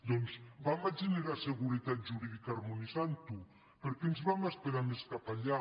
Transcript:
doncs generem seguretat jurídica harmonitzant ho per què ens hem d’esperar més cap enllà